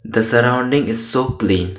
The surrounding is so clean.